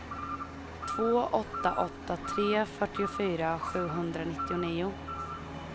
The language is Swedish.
två åtta åtta tre fyrtiofyra sjuhundranittionio